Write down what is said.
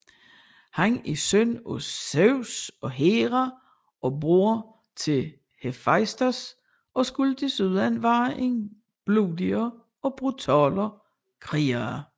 Han er søn af Zeus og Hera og broder til Hefaistos og skulle desuden være en blodig og brutal kriger